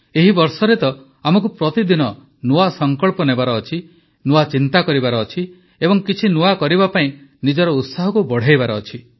ଏହି ବର୍ଷ ତ ଆମକୁ ପ୍ରତିଦିନ ନୂଆ ସଂକଳ୍ପ ନେବାର ଅଛି ନୂଆ ଚିନ୍ତା କରିବାର ଅଛି ଏବଂ କିଛି ନୂଆ କରିବା ପାଇଁ ନିଜର ଉତ୍ସାହକୁ ବଢ଼ାଇବାର ଅଛି